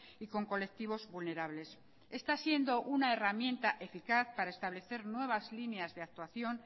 y con colectivos vulnerables está siendo una herramienta eficaz para establecer nuevas líneas de actuación